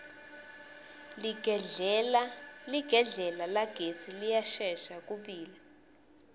ligedlela lagesi liyashesha kubila